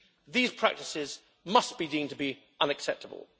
These practices must be deemed to be unacceptable.